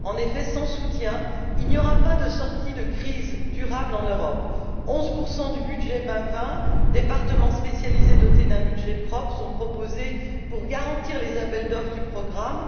En effet, sans soutien, il n'y aura pas de sortie de crise durable en Europe 11 du budget Horizon 2020, et des départements spécialisés dotés d'un budget propre sont proposés pour garantir les appels d'offre du programme.